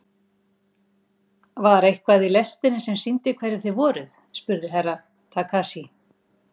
Var eitthvað í lestinni sem sýndi hverjir þið voruð spurði Herra Takashi.